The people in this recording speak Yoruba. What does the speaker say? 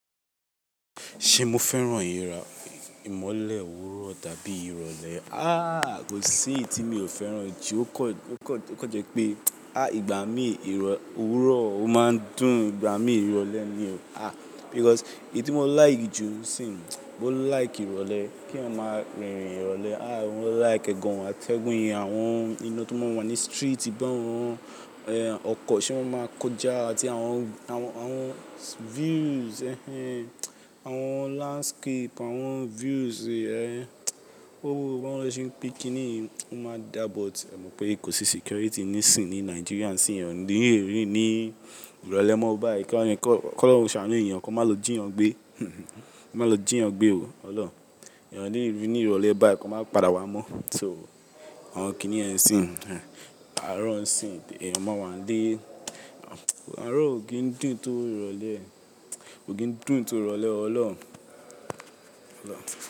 Ṣe mo fẹ́ràn ìrìn ìmọlẹ̀ òwúrọ̀ dàbí ìrọ̀lẹ́? Ahh, kò sí iyì tí mi ò fẹ́ràn jù, ó kọ jẹ́ pé, ah ìgbà mi òwúrọ̀ ó máa ń dùn ìgbà mi ìrọ̀lẹ́ ni. Ah because èyí tí mo like jù sìn, mo like ìrọ̀lẹ́, kí èyán mari ìrìn ìrọ̀lẹ́. Ah mo like e gan o àtẹgún yẹn, àwọn iná tó máa ń wà ní street bá yen ọkọ̀ se ma máa ń kójà àti àwọn views ẹh ẹh, àwọn landscape, àwọn views yen. Oo, bawo lose pẹ́ kìn-ín-ní, ó máa dà, but ẹ mọ̀ pé kò sí security ní sìn ní Nigeria, sí ẹ̀yán o ni lerin ní ìrọ̀lẹ́ mọ́ báyii ká, kọ́ ọlọrun sàánù èyàn, kó má lo jí ẹ̀yin gbé. Kó má lo jí ẹ̀yin gbé o Ọlọ́run. Ẹ̀yin lerín ní ìrọ̀lẹ́ báyìí kó má padà wá mọ́. So àwọn kìnìyen sìn, àárọ̀ sìn, ẹ̀yin máa wà ilé, àárọ̀ ò kí ń dùn tó ìrọ̀lẹ́, ò kíń dùn tó ìrọ̀lẹ́ Ọlọ́run. Ọlọ́run.